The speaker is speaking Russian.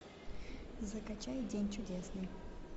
закачай день чудесный